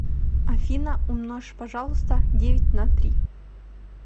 афина умножь пожалуйста девять на три